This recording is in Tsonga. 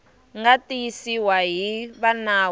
nga tiyisiwa hi va nawu